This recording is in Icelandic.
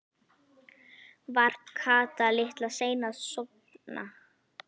Var Kata litla sein að sofna?